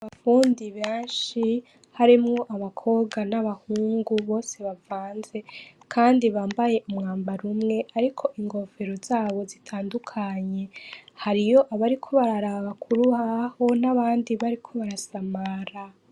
Abafundi benshi harimwo abakobwa nabahungu bose bavanze kandi bambaye umwambaro umwe hariko inkofero zabo zitandukanye hariyo abariko bararaba kurubaho nabandi bariko barasamara